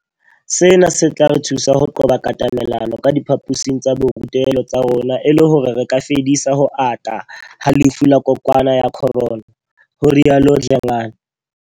Sena se tla re thusa ho qoba katamelano ka diphaposing tsa borutelo tsa rona e le hore re ka fedisa ho ata ha lefu la kokwanahloko ya Corona, ho rialo Dlengane.